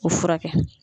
O furakɛ